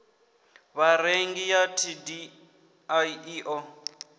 vharengi ya dti i ḓo